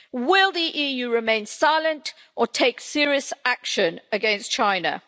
Will the EU remain silent or take serious action against China?